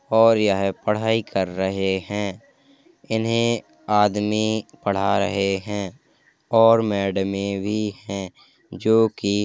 और यह पढाई कर रहे हैं। इन्हे आदमी पढ़ा रहे हैं और मैडमें भी हैं जोकि --